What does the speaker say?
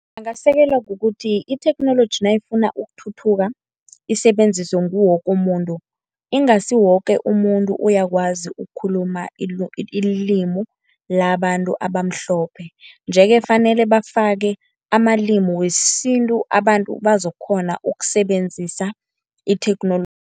Angasekelwa kukuthi itheknoloji nayifuna ukuthuthuka isebenziswe nguwoke umuntu, ingasi woke umuntu uyakwazi ukukhuluma ilimi labantu abamhlophe. Nje-ke kufanele bafake amalimi wesintu abantu bazokukghona ukusebenzisa itheknoloji.